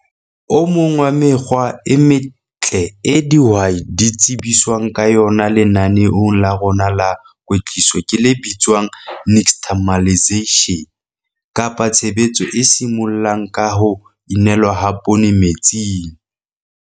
O MONG WA MEKGWA E METLE EO DIHWAI DI TSEBISWANG KA YONA LENANEONG LA RONA LA KWETLISO KE LE BITSWANG NIXTAMALISATION KAPA TSHEBETSO E SIMOLLANG KA HO INELWA HA POONE METSING.